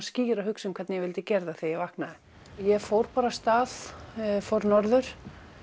skýra hugsun um hvernig ég vildi gera þetta þegar ég vaknaði ég fór af stað fór norður